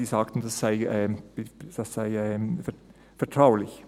Sie sagten, das sei vertraulich.